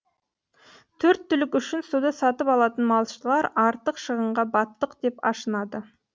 төрт түлік үшін суды сатып алатын малшылар артық шығынға баттық деп ашынады